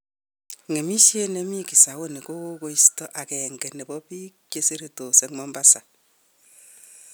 Ng'emisiiet nemii Kisauni ko gomosto ageng'e nebo biik cheseretos en Mombasa.